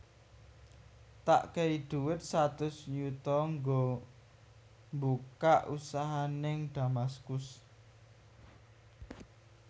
Tak kei duit satus yuto nggo mbukak usaha ning Damaskus